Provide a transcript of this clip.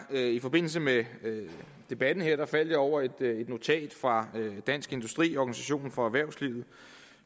i forbindelse med debatten her faldt jeg over et notat fra dansk industri organisationen for erhvervslivet